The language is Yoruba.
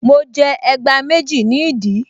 Mo jẹ ẹgbá méjì ní ìdí